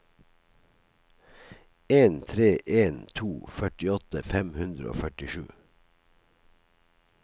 en tre en to førtiåtte fem hundre og førtisju